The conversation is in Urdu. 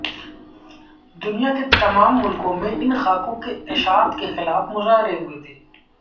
دنیا کے تمام ملکوں میں ان خاکوں کی اشاعت کے خلاف مظاہرے ہوئے تھے